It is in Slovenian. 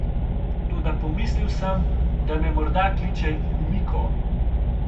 Toda pomislil sem, da me morda kliče Kumiko.